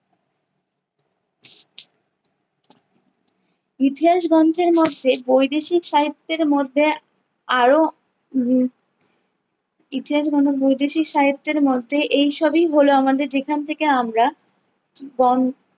ইতিহাস গন্থের মধ্যে বৈদেশিক সাহিত্যের মধ্যে আরো উম ইতিহাস বৈদেশিক সাহিত্যের মধ্যে এই সবই হলো আমাদের, যেখান থেকে আমার গন্~